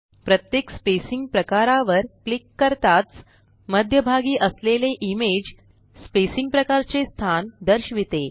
प्रत्येक स्पेसिंग प्रकारावर क्लिक करताच मध्यभागी असलेले इमेज स्पेसिंग प्रकारचे स्थान दर्शविते